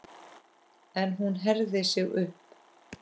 En hún herðir sig upp.